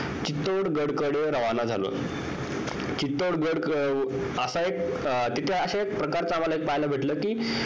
चितौढ गडाकडे रावण झालो चितौढ गड असा एक तिथं अशा एक प्रकारचं पाहायला भेटलं कि